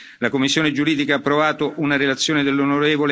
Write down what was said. La commissione giuridica ha approvato una relazione dell'on.